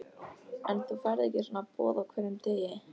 En þú færð ekki svona boð á hverjum degi.